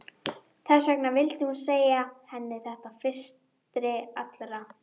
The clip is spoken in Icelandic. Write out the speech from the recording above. Þess vegna vildi hún segja henni þetta fyrstri allra.